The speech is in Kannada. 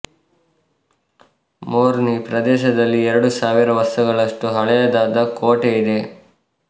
ಮೊರ್ನಿ ಪ್ರದೇಶದಲ್ಲಿ ಎರಡು ಸಾವಿರ ವರ್ಷಗಳಷ್ಟು ಹಳೆಯದಾದ ಕೋಟೆ ಇದೆ